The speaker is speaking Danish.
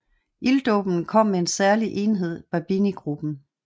Ilddåben kom med en særlig enhed Babini gruppen